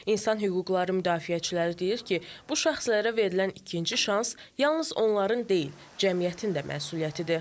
İnsan hüquqları müdafiəçiləri deyir ki, bu şəxslərə verilən ikinci şans yalnız onların deyil, cəmiyyətin də məsuliyyətidir.